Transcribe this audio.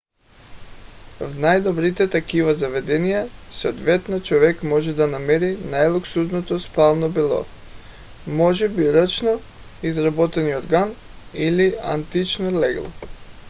в най-добрите такива заведения съответно човек може да намери най-луксозното спално бельо може би ръчно изработен юрган или антично легло